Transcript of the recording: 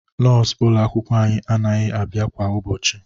Nọọsụ ụlọ akwụkwọ anyị anaghị abịa kwa ụbọchị